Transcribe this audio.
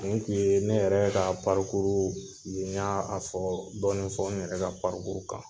Ninnu kun ye ne yɛrɛ ka parikuru y'a a fɔ dɔni fɔ n yɛrɛ ka parikuru kan